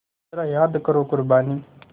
ज़रा याद करो क़ुरबानी